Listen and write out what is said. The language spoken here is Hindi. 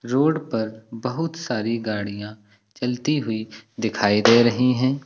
रोड पर बहुत सारी गाड़ियां चलती हुई दिखाई दे रही हैं।